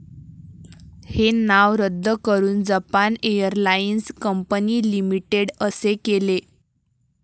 हे नाव रद्द करून जपान एअरलाइन्स कंपनी लिमिटेड असे केले.